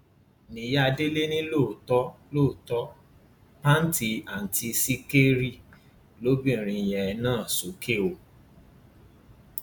ìyá délé ni lóòótọ lóòótọ pàǹtí àǹtí sìkẹrì lobìnrin yẹn nà sókè o